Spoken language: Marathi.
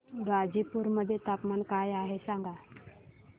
गाझीपुर मध्ये तापमान काय आहे सांगा